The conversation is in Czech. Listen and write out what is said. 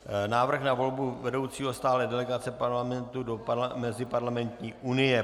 Návrh na volbu vedoucího stálé delegace Parlamentu do Meziparlamentní unie